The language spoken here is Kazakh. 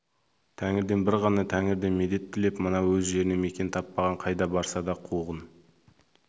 тәңірден бір ғана тәңірден медет тілеп мына өз жерінен мекен таппаған қайда барса да қуғын